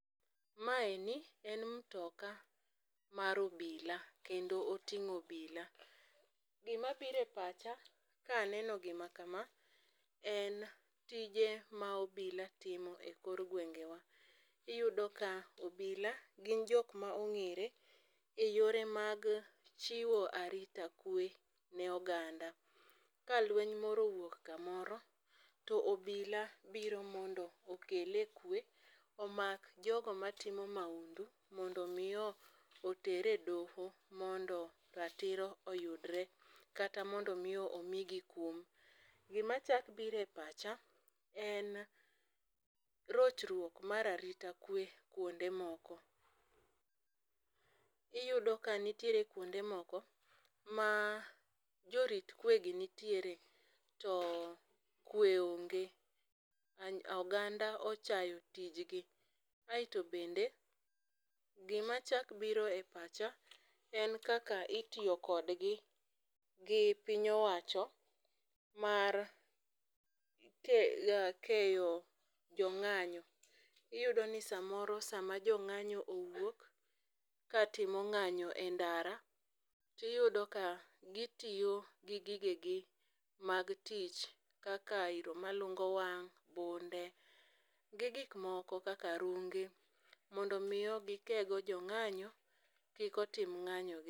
Maeni en mtoka mar obila kendo oting'o obila. Gimabire pacha kaneno gima kama en tije ma obila timo e kor gwenge wa. Iyudo ka obila gin jok ma ong'ere e yore mag chiwo arita kwe ne oganda . Ka lweny moro owuok kamoro to obila biro mondo okele kwe omak jogo matimo mahundu mondo mi oter e doho mondo ratiro oyudre kata mondo mi omigi kum. Gima chak bire pacha en rochruok mar arita kwe kuonde moko, iyudo ka nitiere kuonde moko ma jorit kwe gi nitiere to kwe onge . Oganda ochayo tijgi. Aeto bende gima chak biro e pacha en kaka itiyo kodgi gi piny owacho mar ke keyo jong'anyo. Iyudo ni samoro sama jong'anyo owuok ka timo ng'anyo e ndara tiyudo ka gitiyo gi gige gi mag tich kaka iro malungo wang', bunde gi gik moko kaka runge mondo mi gikego jong'anyo kik otim ng'anyo gi.